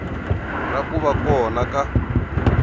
ra ku va kona ka